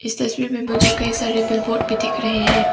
इस तस्वीर में मुझे कई सारे बिलबोर्ड भी दिख रहे हैं।